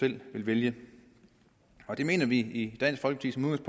vil vælge det mener vi i dansk folkeparti